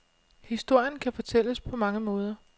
Historien kan fortælles på mange måder.